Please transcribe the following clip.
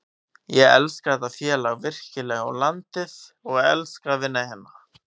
Ég elska þetta félag virkilega og landið og elska að vinna hérna.